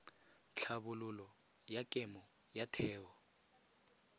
tlhabololo ya kemo ya theo